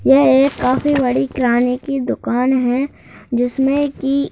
यह एक काफी बड़ी किरानी की दुकान है जिसमें की --